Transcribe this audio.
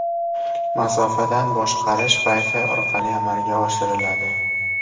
Masofadan boshqarish Wi-Fi orqali amalga oshiriladi.